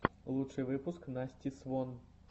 лучший выпуск насти свон